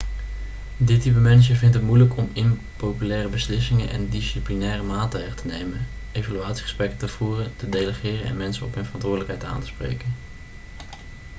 dit type manager vindt het moeilijk om impopulaire beslissingen en disciplinaire maatregelen te nemen evaluatiegesprekken te voeren te delegeren en mensen op hun verantwoordelijkheid aan te spreken